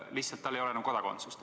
Lihtsalt tal ei ole siis enam kodakondsust.